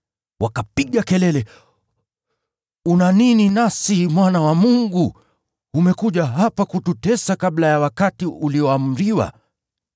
Wakapiga kelele, “Una nini nasi, Mwana wa Mungu? Umekuja hapa kututesa kabla ya wakati ulioamriwa?”